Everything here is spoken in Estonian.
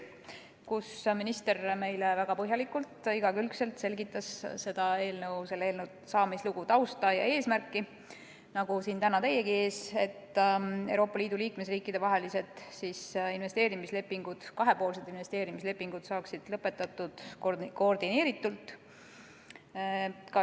Minister selgitas meile nagu siin täna teiegi ees väga põhjalikult ja igakülgselt seda eelnõu, selle saamislugu, tausta ja eesmärki, et Euroopa Liidu liikmesriikide vahelised kahepoolsed investeerimislepingud saaksid lõpetatud koordineeritult.